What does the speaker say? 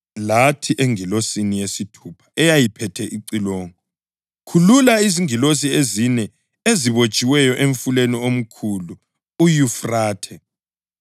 Lathi engilosini yesithupha eyayiphethe icilongo, “Khulula izingilosi ezine ezibotshiweyo emfuleni omkhulu uYufrathe.”